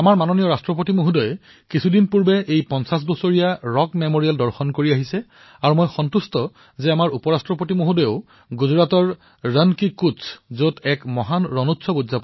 আমাৰ মাননীয় ৰাষ্ট্ৰপতি মহোদয়েও কেইদিনমান পূৰ্বে এই ৰক মেমৰিয়েল দৰ্শন কৰি আহিছে আৰু আমাৰ উপৰাষ্ট্ৰপতি মহোদয়েও গুজৰাটৰ ৰাণ অব কচ্চ ভ্ৰমণ কৰি অহাত মই সুখী অনুভৱ কৰিছো